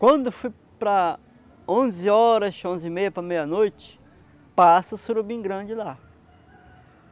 Quando foi para onze horas, onze e meia, para meia-noite, passa o surubim grande lá.